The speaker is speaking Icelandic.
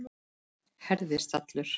Herðist allur.